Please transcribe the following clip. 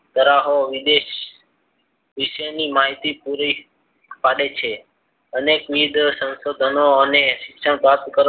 ધરાવી વિદેશ વિષયની માહિતી પૂરી પાડે છે. અને વીજ સંશોધનો અને શિક્ષણ પ્રાપ્ત કરવા